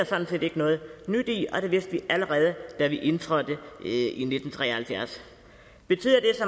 sådan set ikke noget nyt i og det vidste vi allerede da vi indtrådte i nitten tre og halvfjerds betyder